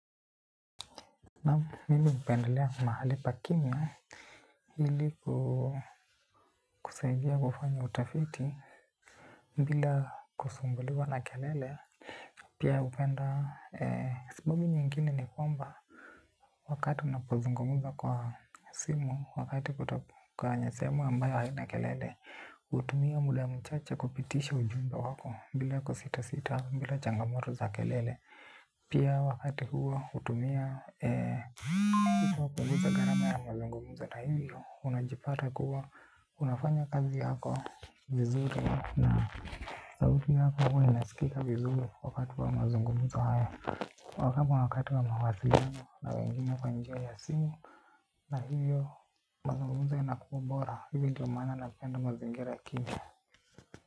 Naam mimi hupendelea mahali pa kimya ili kusaidia kufanya utafiti mbila kusumbuliwa na kelele. Pia hupenda sababu nyingine ni kwamba wakati unapozungumuza kwa simu, wakati kuto kwenye sehemu ambayo haina kelele. Hutumia muda ya mchache kupitisha ujumbe wako bila kusita sita bila jangamoto za kelele. Pia wakati huo hutumia hupunguza gharama ya mazungumzo na hivyo unajipata kuwa unafanya kazi yako vizuri. Na sauti yako huwa inasikika vizuri wakati wa mazungumzo haya. Wa kama wakati wa mawasiliano na wengine kwa njia ya simu. Na hivyo mazungumzo inakuwa bora hivyo ndio maana napenda mazingira kimya.